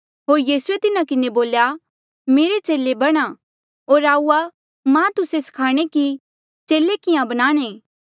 होर यीसूए तिन्हा किन्हें बोल्या मेरे चेले बणा होर आऊआ मां तुस्से स्खाणे कि चेले किहाँ बनाणे